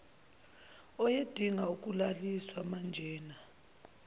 ayedinga ukulaliswa manjena